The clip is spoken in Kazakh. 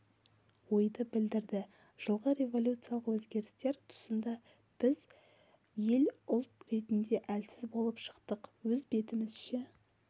ойды білдірді жылғы революциялық өзгерістер тұсында біз ел ұлт ретінде әлсіз болып шықтық өз бетімізше